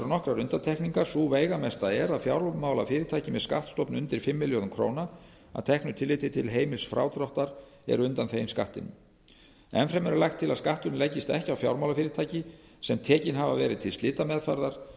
nokkrar undantekningar sú veigamesta er að fjármálafyrirtæki með skattstofn undir fimm milljörðum króna að teknu tilliti til heimils frádráttar eru undanþegin skattinum enn fremur er lagt til að skatturinn leggist ekki á fjármálafyrirtæki sem tekin hafa verið til slitameðferðar